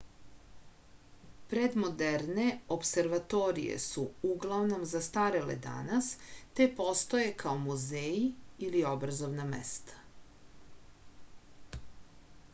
predmoderne opservatorije su uglavnom zastarele danas te postoje kao muzeji ili obrazovna mesta